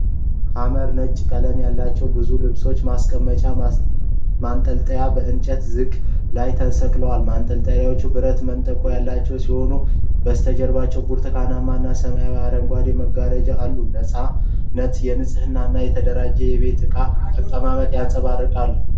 ሐመር ነጭ ቀለም ያላቸው ብዙ ልብስ ማስቀመጫ ማንጠልጠያዎች በእንጨት ዘንግ ላይ ተሰቅለዋል። ማንጠልጠያዎቹ ብረት መንጠቆ ያላቸው ሲሆን፣ በስተጀርባ ብርቱካናማና ሰማያዊ አረንጓዴ መጋረጃዎች አሉ። የነፃነት፣ የንጽህና እና የተደራጀ የቤት እቃ አቀማመጥን ያንጸባርቃል።